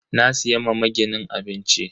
Na siya ma maginin abinci.